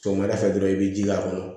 Sɔgɔmada fɛ dɔrɔn i bɛ ji k'a kɔnɔ